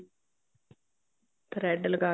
thread ਲਗਾ ਕੇ